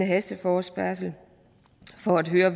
hasteforespørgsel for at høre